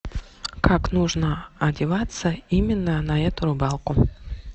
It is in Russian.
как нужно одеваться именно на эту рыбалку